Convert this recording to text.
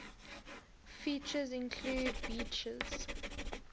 features include beaches